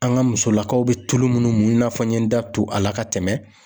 An ka musolakaw bɛ tulu munnu na fɔ n ye n da to a la ka tɛmɛ.